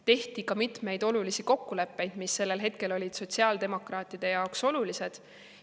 Tehti ka mitmeid olulisi kokkuleppeid, mis sellel hetkel olid sotsiaaldemokraatide jaoks olulised.